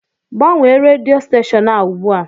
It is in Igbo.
Gbanwee rèdió stèshọn ahụ ùgbúà